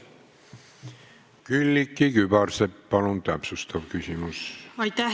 Külliki Kübarsepp, palun täpsustav küsimus!